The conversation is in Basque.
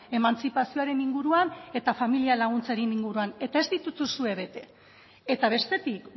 emantzipazioaren inguruan eta familia laguntzaren inguruan eta ez dituzue bete eta bestetik